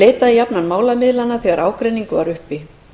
leitaði jafnan málamiðlana þegar ágreiningur var uppi